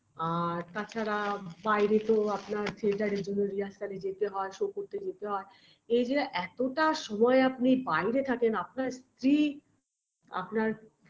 আর তাছাড়া বাইরে তো আপনার theatre -এর জন্য rehearsal -এ যেতে হয় Show করতে যেতে হয় এই যে এতটা সময় আপনি বাইরে থাকেন আপনার স্ত্রী আপনার